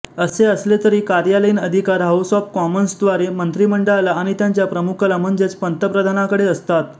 असे असले तरी कार्यालयीन अधिकार हाऊस ऑफ कॉमन्सद्वारे मंत्रिमंडळाला आणि त्यांच्या प्रमुखाला म्हणजेच पंतप्रधानांकडे असतात